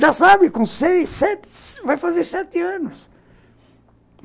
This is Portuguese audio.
Já sabe, com seis, sete, vai fazer sete anos.